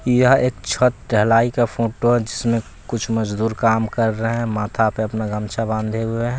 यह एक छत ढलाई का फोटो जिसमें कुछ मजदूर काम कर रहे हैं माथा पे अपना गमछा बांधे हुए हैं।